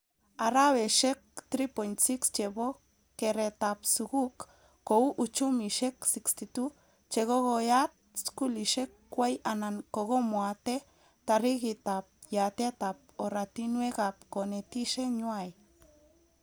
Araweshek3.6 chebo keretab skuk kou uchumishek 62 chekokoyat skulishek kway anan kokomwate tarikitab yatetab oratinwekab konetishe nywai